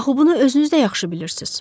Axı bunu özünüz də yaxşı bilirsiz.